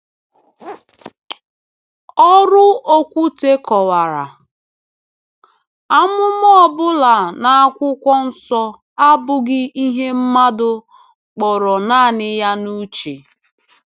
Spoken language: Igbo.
Ọrụ Okwute kọwara: “Amụma ọ bụla n’Akwụkwọ Nsọ abụghị ihe mmadụ kpọrọ naanị ya n’uche.”